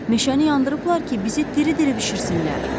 Meşəni yandırıblar ki, bizi diri-diri bişirsinlər.